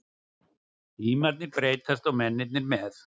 Tímarnir breytast og mennirnir með.